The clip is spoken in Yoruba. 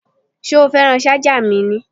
Ṣé o fẹ́ràn ṣájà mi ni?